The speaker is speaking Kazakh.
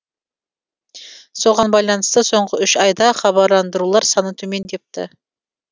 соған байланысты соңғы үш айда хабарландырулар саны төмендепті